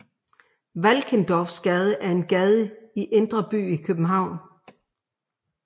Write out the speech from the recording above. Valkendorfsgade er en gade i indre by i København